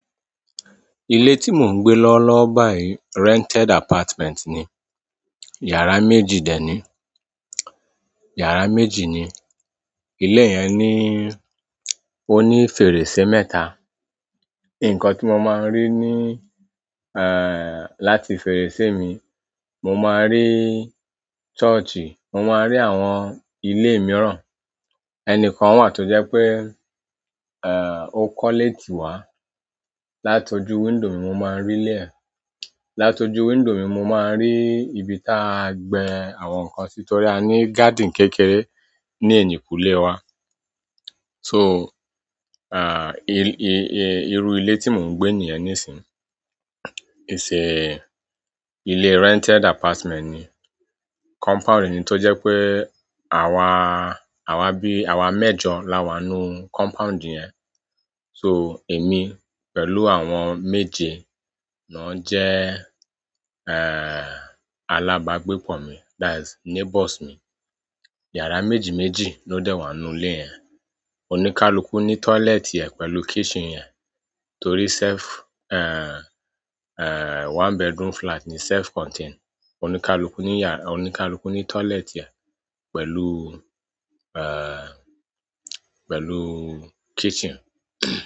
Ilé tí mò ń gbé lọ́ lọ́ báyìí rented apartment ni. Yàrá méjì dè ní, yàrá méjì ni. Ilé yẹn ní, ó ní fèrèsé mẹ́ta. Nǹkan tí mo máa ń rí ní láti fèrèsé mi, mo máa ń rí church, mo máa ń rí àwọn ilé mìíràn. Ẹnìkan wà tó jẹ́ pé ó kọ́lé tì wá. Látojú window mi mo máa ń rí ilé ẹ̀. Látojú window mi mo máa ń rí ibi tí à ń gbẹ àwọn nǹkan sí torí a ní garden kékeré ní ẹ̀yìnkùlé wa. So, i-i-i-irú ilé tí mò ń gbé nìyẹn nísìnyí. Is a, ilé rented apartment ni. Compound ni tó jẹ́ pé àwa, àwa bí, àwa mẹ́jọ la wà ńnú compound yẹn. So èmi pẹ̀lú àwọn méje náà jẹ́ alábàágbépọ̀ mi, that's neighbours mi. Yàrá méjì méjì ló dẹ̀ wà nínú ilé yẹn. Oníkálukú ní toilet ẹ̀ pẹ̀lú kitchen ẹ̀ torí self, one bedroom flat ni, self-contained. Oníkálukú ní yà-- oníkálukú ní toilet rẹ̀ pẹ̀lú, eh, pẹ̀lú kitchen.